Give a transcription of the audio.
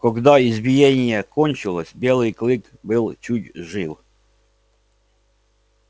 когда избиение кончилось белый клык был чуть жив